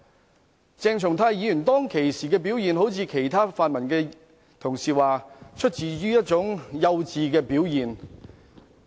我也不認為鄭松泰議員當時的表現一如其他泛民同事所說般只是一種出於幼稚的表現。